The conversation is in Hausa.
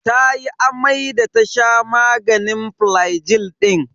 Tayi amai da ta sha maganin flagil din.